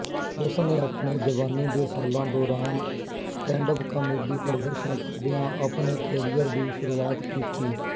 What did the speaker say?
ਉਸਨੇ ਆਪਣੇ ਜਵਾਨੀ ਦੇ ਸਾਲਾਂ ਦੌਰਾਨ ਸਟੈਂਡਅਪ ਕਾਮੇਡੀ ਪ੍ਰਦਰਸ਼ਨ ਕਰਦਿਆਂ ਆਪਣੇ ਕੈਰੀਅਰ ਦੀ ਸ਼ੁਰੂਆਤ ਕੀਤੀ